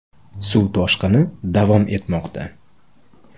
Suv toshqini davom etmoqda.